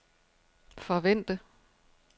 forvente